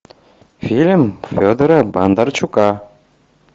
фильм федора бондарчука